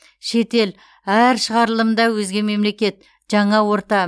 шетел әр шығарылымда өзге мемлекет жаңа орта